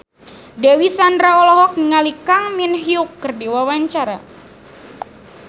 Dewi Sandra olohok ningali Kang Min Hyuk keur diwawancara